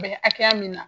Bɛ hakɛya min na